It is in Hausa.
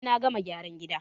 In na gama gyaran gida